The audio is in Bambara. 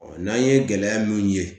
n'an ye gɛlɛya mun ye